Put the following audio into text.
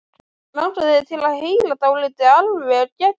Langar þig til að heyra dálítið alveg geggjað?